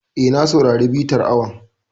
E, na saurari bitar awon.